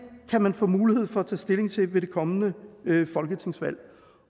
kan man få mulighed for at tage stilling til ved det kommende folketingsvalg